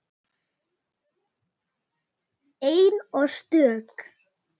Ein og stök.